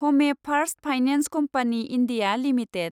हमे first finance company India limited